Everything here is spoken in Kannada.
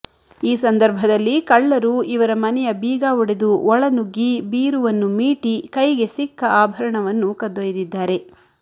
ಈ ಸಂದರ್ಭದಲ್ಲಿ ಕಳ್ಳರು ಇವರ ಮನೆಯ ಬೀಗ ಒಡೆದು ಒಳನುಗ್ಗಿ ಬೀರುವನ್ನು ಮೀಟಿ ಕೈಗೆ ಸಿಕ್ಕ ಆಭರಣವನ್ನು ಕದ್ದೊಯ್ದಿದ್ದಾರೆ